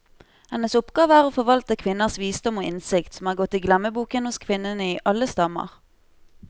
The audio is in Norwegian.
Hennes oppgave er å forvalte kvinners visdom og innsikt, som er gått i glemmeboken hos kvinnene i alle stammer.